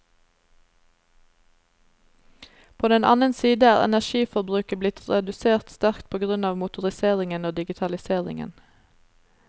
På den annen side er energiforbruket blitt redusert sterkt på grunn av motorisering og digitalisering.